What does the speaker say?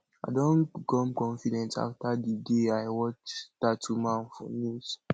i don become confident after the day i watch dat woman for news